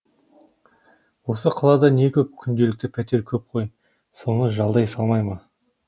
осы қалада не көп күнделікті пәтер көп қой соны жалдай салмай ма